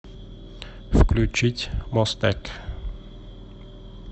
включить мостэк